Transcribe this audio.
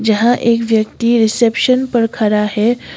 जहां एक व्यक्ति रिसेप्शन पर खड़ा है।